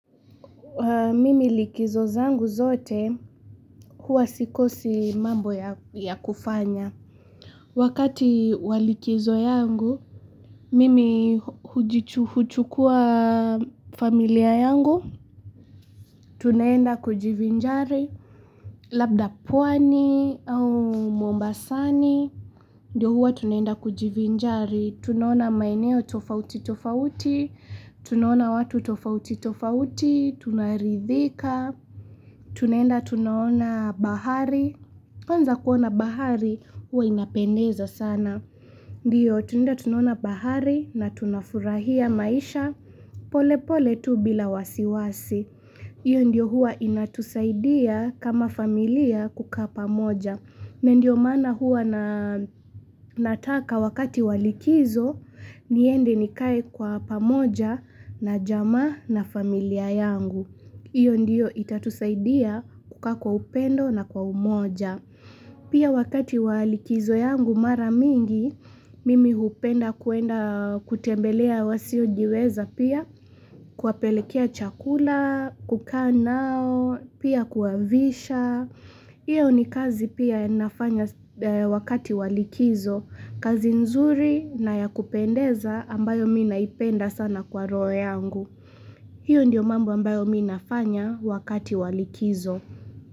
Mimi likizo zangu zote, huwa sikosi mambo ya kufanya. Wakati wa likizo yangu, mimi huchukua familia yangu. Tunaenda kujivinjari. Labda pwani au mombasani, ndio huwa tunaenda kujivinjari. Tunaona maeneo tofauti tofauti, tunaona watu tofauti tofauti, tunaridhika. Tunaenda tunaona bahari kwanza kuona bahari huwa inapendeza sana Ndiyo tunaenda tunaona bahari na tunafurahia maisha pole pole tu bila wasiwasi Iyo ndiyo hua inatusaidia kama familia kukaa pamoja Ndiyo maana huwa na nataka wakati wa likizo niende nikae kwa pamoja na jamaa na familia yangu Iyo ndiyo itatusaidia kukaa kwa upendo na kwa umoja. Pia wakati wa likizo yangu mara mingi, mimi hupenda kuenda kutembelea wasiojiweza pia, kuwapelekea chakula, kukaa nao, pia kuwavisha. Iyo ni kazi pia nafanya wakati wa likizo, kazi nzuri na ya kupendeza ambayo mi naipenda sana kwa roho yangu. Hiyo ndiyo mambo ambayo mi nafanya wakati wa likizo.